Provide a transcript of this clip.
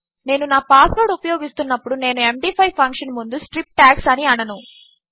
నేనునాపాస్వర్డ్ఉపయోగిస్తున్నప్పుడు నేను ఎండీ5 ఫంక్షన్ముందు strip tags అనిఅనను